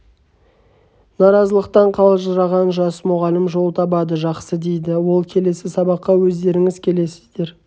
наразылықтан қалжыраған жас мұғалім жол табады жақсы дейді ол келесі сабаққа өздеріңіз келесіздер